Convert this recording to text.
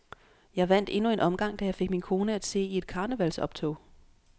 Jeg vandt endnu en omgang, da jeg fik min kone at se i et karnevalgsoptog.